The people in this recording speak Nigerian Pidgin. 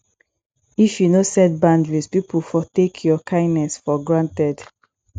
if yu no set boundaries pipo for take yur kindness for granted